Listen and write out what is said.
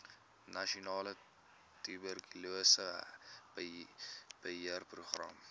nasionale tuberkulose beheerprogram